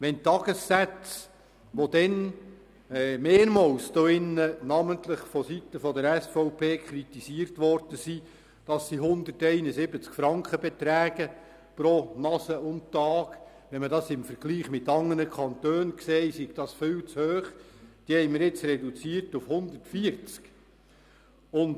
Die Tagessätze, die in diesem Saal mehrmals namentlich vonseiten der SVP dafür kritisiert wurden, dass sie 171 Franken pro «Nase» und Tag betragen und im Vergleich mit anderen Kantonen viel zu hoch seien, haben wir jetzt auf 140 Franken reduziert.